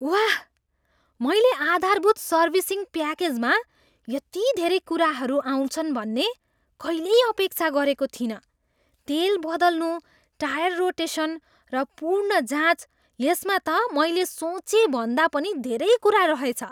वाह, मैले आधारभूत सर्भिसिङ प्याकेजमा यति धेरै कुराहरू आउँछन् भन्ने कहिल्यै अपेक्षा गरेको थिइनँ। तेल बदल्नु, टायर रोटेसन, र पूर्ण जाँच, यसमा त मैले सोचेभन्दा पनि धेरै कुरा रहेछ!